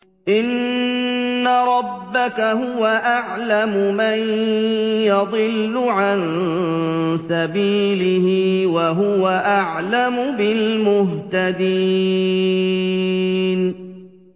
إِنَّ رَبَّكَ هُوَ أَعْلَمُ مَن يَضِلُّ عَن سَبِيلِهِ ۖ وَهُوَ أَعْلَمُ بِالْمُهْتَدِينَ